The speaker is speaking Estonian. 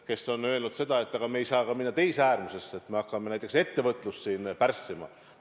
Ta on öelnud seda, et aga me ei saa minna ka teise äärmusesse, nii et me hakkame näiteks ettevõtlust pärssima.